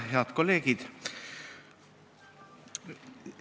Head kolleegid!